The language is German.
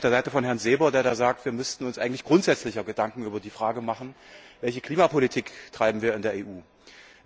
Ich bin da sehr auf der Seite von Herrn Seeber, der sagt, wir müssten uns eigentlich grundsätzlicher Gedanken über die Frage machen, welche Klimapolitik wir in der EU betreiben.